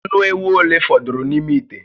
Ànù éwú ole fọdụrụ n'ime ite?